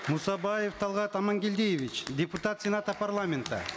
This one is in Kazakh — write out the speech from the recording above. мусабаев талгат амангельдиевич депутат сената парламента